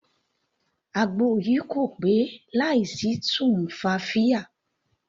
Àgbo yìí kò pé láì sí tumfafiya.